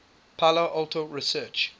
palo alto research